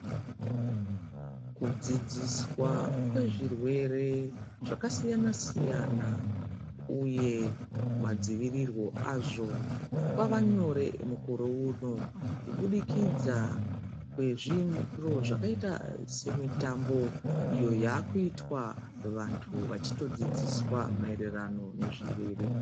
Kudzidziswa kwezvirwere zvakasiyana-siyana, uye madzivirirwo azvo kwava nyore mukore uno. Kubudikidza kwezviro zvakaita semitambo iyo yakutwa vantu vachitodzidziswa maererano nezvirwere.